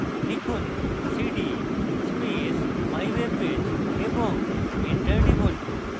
লিখুন: cd space mywebpage এবং enter টিপুন